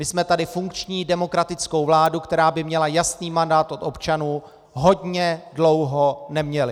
My jsme tady funkční demokratickou vládu, která by měla jasný mandát od občanů, hodně dlouho neměli.